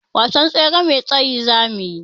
Wasan tsere mai tsayi zamuyi.